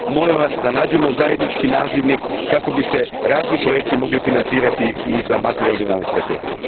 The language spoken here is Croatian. Molim vas da nađemo zajednički nazivnik kako bi se razni projekti mogli financirati i za makroregionalne strategije.